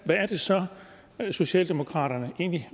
hvad er det så socialdemokraterne egentlig